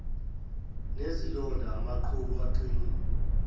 nezilonda amaqhubu aqinile